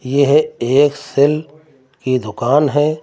यह एक सेल की दुकान है।